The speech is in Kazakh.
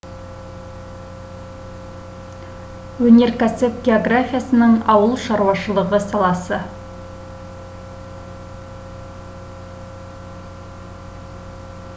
өнеркәсіп географиясының ауыл шаруашылығы саласы